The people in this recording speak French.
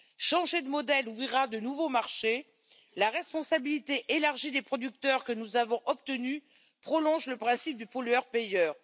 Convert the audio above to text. Changer de modèle ouvrira de nouveaux marchés, la responsabilité élargie des producteurs que nous avons obtenue prolonge le principe du pollueur payeur.